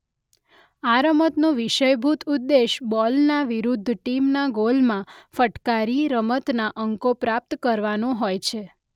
આ રમતનો વિષયભુત ઉદ્દેશ બોલને વિરૂદ્ધ ટીમના ગોલમાં ફટકારી રમતના અંકો પ્રાપ્ત કરવાનો હોય છે.